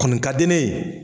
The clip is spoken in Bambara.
Kɔni ka di ne ye